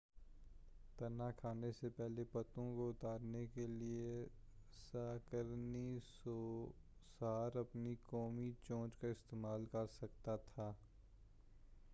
تنا کھانے سے پہلے پتوں کو اتارنے کیلئے سَہ قَرنی سوسار اپنی قوی چونچ کا استعمال کرسکتا تھا